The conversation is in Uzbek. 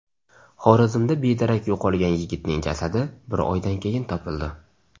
Xorazmda bedarak yo‘qolgan yigitning jasadi bir oydan keyin topildi.